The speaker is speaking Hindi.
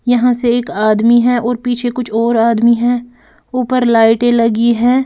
यहां से एक आदमी है और पीछे कुछ और आदमी हैं ऊपर लाइटें लगी हैं।